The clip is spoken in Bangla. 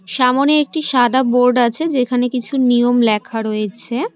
সামনে একটি সাদা বোর্ড আছে যেখানে কিছু নিয়ম লেখা রয়েছে।